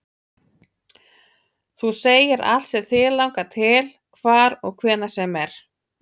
Þú segir allt sem þig langar til, hvar og hvenær sem er